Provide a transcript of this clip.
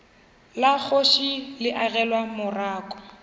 la kgoši le agelwa morako